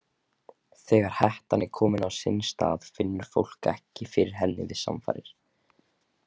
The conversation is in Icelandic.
Þegar hettan er komin á sinn stað finnur fólk ekki fyrir henni við samfarir.